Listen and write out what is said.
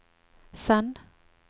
send